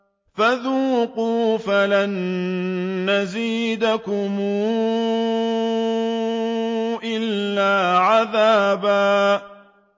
فَذُوقُوا فَلَن نَّزِيدَكُمْ إِلَّا عَذَابًا